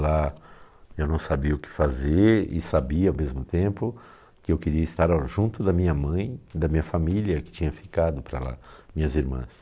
Lá eu não sabia o que fazer e sabia ao mesmo tempo que eu queria estar junto da minha mãe e da minha família que tinha ficado para lá, minhas irmãs.